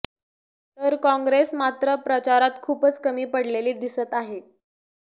तर काँग्रेस मात्र प्रचारात खूपच कमी पडलेली दिसत आहे